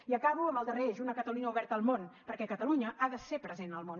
i acabo amb el darrer eix una catalunya oberta al món perquè catalunya ha de ser present al món